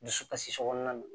Dusukasi so kɔnɔna na